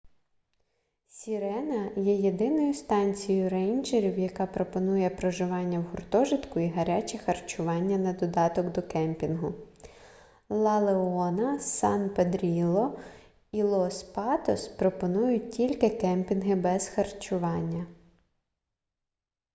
сірена є єдиною станцією рейнджерів яка пропонує проживання в гуртожитку і гаряче харчування на додаток до кемпінгу ла леона сан педрілло і лос патос пропонують тільки кемпінги без харчування